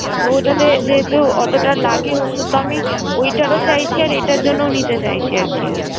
তো ওটাতে যেহেতু অতোটা লাগে ওষুধ, তো আমি ওইটার ও চাইছি আর এইটার জন্য নিতে চাইছি আরকি।